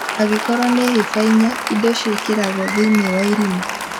Angĩkorwo nĩ hĩba inya , indo ciĩkĩragwo thĩinĩ wa irima